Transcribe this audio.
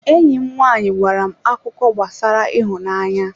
Enyi m nwanyị gwara m akụkọ gbasara ịhụnanya.